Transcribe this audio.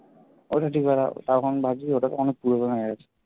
ওটা ঠিক হবার পর তখন ভাবছি ওটা তো অনেক পুরনো হয়ে গেছে